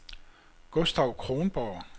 Gustav Kronborg